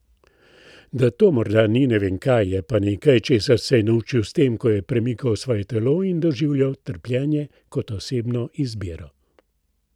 Da to morda ni ne vem kaj, je pa nekaj, česar se je naučil s tem, ko je premikal svoje telo in doživljal trpljenje kot osebno izbiro.